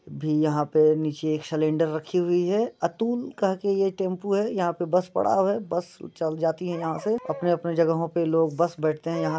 भी यहां पे नीचे एक सिलिंडर रखी हुई है अतुल कह के यहां पे टेंपू है यहां बस पड़ा है बस चल जाती है यहां से अपने-अपने जगहो पे बस बैठते है यहां --